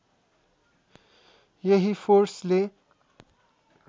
यही फोर्सले